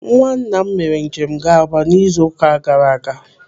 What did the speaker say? Nwanna m mere njem ga-Aba n'izu ụka gara aga.